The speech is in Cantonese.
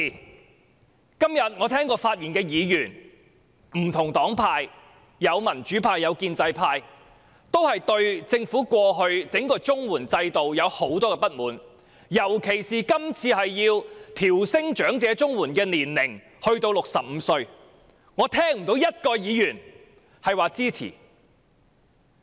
我今天聽到不同黨派的議員發言，民主派和建制派均對政府過往整個綜合社會保障援助計劃制度有很多不滿，尤其是今次要把申領長者綜援的年齡提高至65歲，我聽不到有任何議員表示支持。